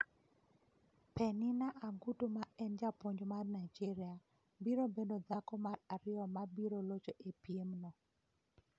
Penina Agutu ma en japuonj mar Nigeria, biro bedo dhako mar ariyo ma biro locho e piemno.